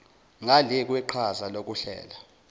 ngale kweqhaza lokuhlela